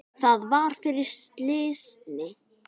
Það var fyrir slysni.